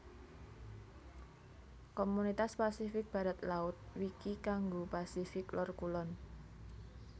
Komunitas Pasifik Barat laut Wiki kanggo Pasifik Lor kulon